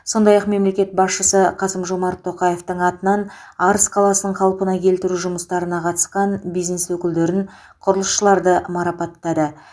сондай ақ мемлекет басшысы қасым жомарт тоқаевтың атынан арыс қаласын қалпына келтіру жұмыстарына қатысқан бизнес өкілдерін құрылысшыларды марапаттады